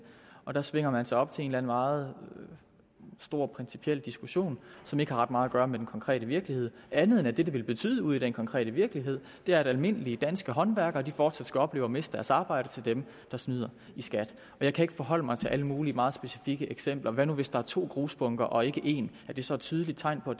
og der svinger man sig op til en eller anden meget stor principiel diskussion som ikke har ret meget at gøre med den konkrete virkelighed andet end at det det vil betyde ude i den konkrete virkelighed er at almindelige danske håndværkere fortsat skal opleve at miste deres arbejde til dem der snyder i skat jeg kan ikke forholde mig til alle mulige meget specifikke eksempler hvad nu hvis der er to grusbunker og ikke en er det så et tydeligt tegn på